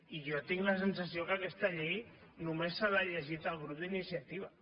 i jo tinc la sensació que aquesta llei només se l’ha llegit el grup d’iniciativa